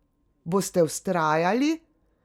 Boste vztrajali?